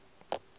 o re ga a sa